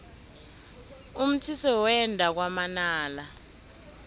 umthise wenda kwamanala